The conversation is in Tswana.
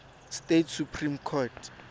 states supreme court